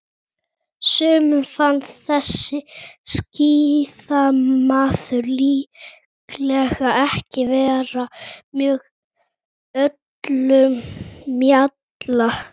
sumum finnst þessi skíðamaður líklega ekki vera með öllum mjalla